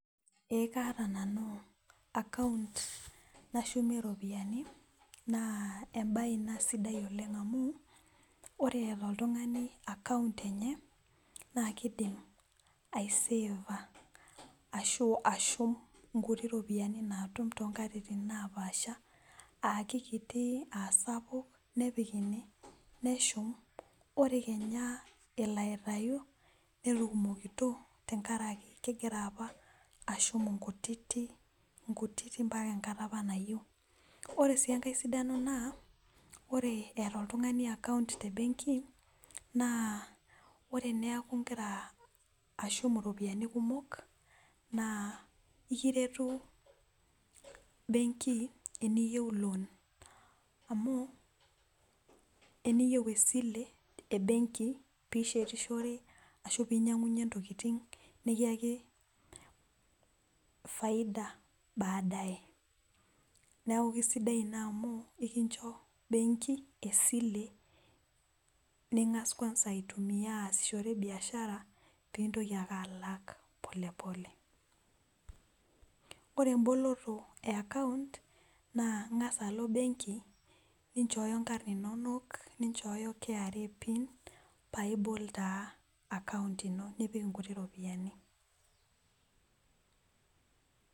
ee kaata nanu akaunt nashumie iropiyiani naa ebaye ina sidai oleng amu ore eeta oltung'ani akaunt enye naa kidim aiseeva ashu ashum inkutiti ropiyiani naatum too nkatitin naa paasha aakikiti aasapuk nepik ene neshum ore kenya elo aitayu netukumokito tengaraki kegira apa ashum inkutitik mpaka enkata apa nayieu , ore sii engae sidano naa ore eeta oltung'ani akaunt tebengi naa ore teneeku igira ashum iropiyiani kumok naa ekiretu benki teniyieu loon , amu teniyieu esile ebengi pee ishetishore ashu pee inyang'unyie intokitin nikiyaki faida baadaye ,neeku kisidai ina amu ekinchoo bengi esile ning'as kwanza aitumiya pee intoki ake alak pole pole ore eboloto ee ekaunt naa ing'as ake alo bengi nichooyo inkarn inonok ninchooyo KRA pin ninchooyo inkarn inonok paa ibol taa akaunt ino nipik inkuti ropiyiani.